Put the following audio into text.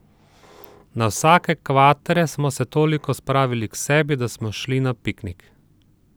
Na vsake kvatre smo se toliko spravili k sebi, da smo šli na piknik.